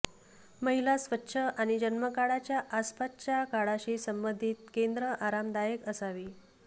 महिला स्वच्छ आणि जन्मकाळाच्या आसपासच्या काळाशी संबंधित केंद्र आरामदायक असावी